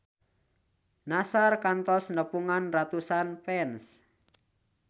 Nassar kantos nepungan ratusan fans